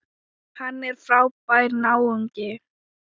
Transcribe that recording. Hann er frábær náungi.